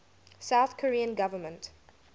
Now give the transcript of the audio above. south korean government